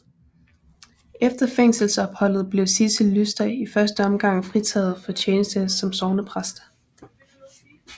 Efter fængselsopholdet blev Sidsel Lyster i første omgang fritaget for tjeneste som sognepræst